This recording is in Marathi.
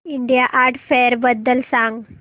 इंडिया आर्ट फेअर बद्दल सांग